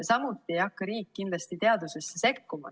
Samuti ei hakka riik kindlasti teadusesse sekkuma.